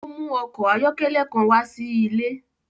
O mu ọkọ ayọkẹlẹ kan wá sí ilé.